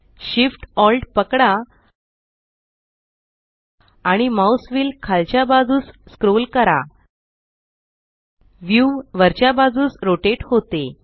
Shift Alt पकडा आणि mouse wheel खालच्या बाजूस स्क्रोल करा व्यू वरच्या बाजूस रोटेट होते